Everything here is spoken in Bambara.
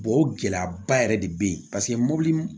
o gɛlɛyaba yɛrɛ de be yen paseke mɔbili